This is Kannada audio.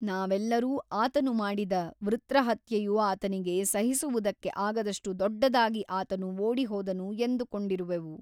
ನಾವೆಲ್ಲರೂ ಆತನು ಮಾಡಿದ ವೃತ್ರಹತ್ಯೆಯು ಆತನಿಗೆ ಸಹಿಸುವುದಕ್ಕೆ ಆಗದಷ್ಟು ದೊಡ್ಡದಾಗಿ ಆತನು ಓಡಿಹೋದನು ಎಂದುಕೊಂಡಿರುವೆವು.